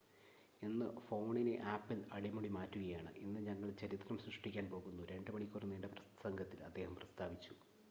"""ഇന്ന് ഫോണിനെ ആപ്പിൾ അടിമുടി മാറ്റുകയാണ് ഇന്ന് ഞങ്ങൾ ചരിത്രം സൃഷ്ടിക്കാൻ പോകുന്നു" 2 മണിക്കൂർ നീണ്ട പ്രസംഗത്തിൽ അദ്ദേഹം പ്രസ്താവിച്ചു.